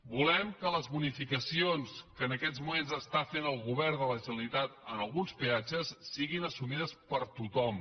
volem que les bonificacions que en aquests moments fa el govern de la generalitat en alguns peatges siguin assumides per tothom